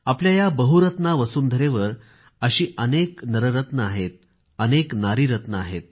आपल्या या बहुरत्ना वसुंधरेवर असे अनेक नररत्न आहेत अनेक नारीरत्न आहेत